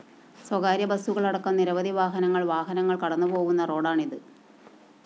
സ്വകാര്യ ബസുകളടക്കം നിരവധി വാഹനങ്ങള്‍ വാഹനങ്ങള്‍ കടന്നുപോകുന്ന റോഡാണിത്